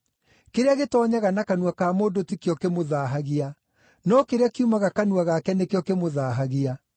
Kĩrĩa gĩtoonyaga na kanua ka mũndũ ti kĩo ‘kĩmũthaahagia’, no kĩrĩa kiumaga kanua gake nĩkĩo ‘kĩmũthaahagia.’ ”